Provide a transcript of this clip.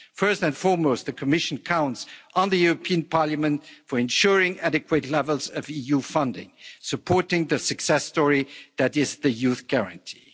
First and foremost, the Commission counts on the European Parliament for ensuring adequate levels of EU funding, supporting the success story that is the Youth Guarantee.